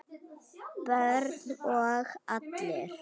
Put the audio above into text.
Börn og allir?